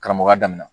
Karamɔgɔya daminɛna